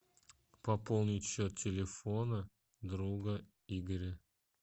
пополнить счет телефона друга игоря